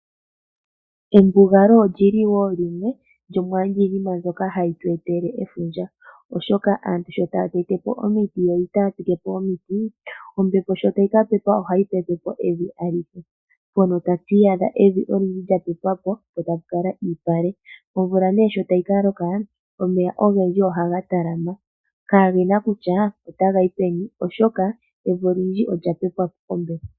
Embugalo olili wo limwe ndyoka hali tu etele efundja oshoka aantu shoo taatepo omiti yo itaaya tsike po omiti , evi olindji ohali pepwapo kombepo tapu thigala iipale nomvula ngele yalongo omeya ohaga kunguluka kaagena mpoka taga hakele oshoka evi alihe olya pepwapo kombepo.